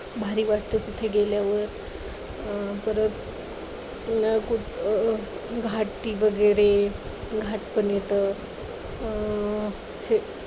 भारी वाटतं तिथे गेल्यावर. अं परत घाटी वगैरे घाट पण येतं, अं